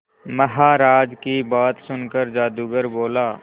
महाराज की बात सुनकर जादूगर बोला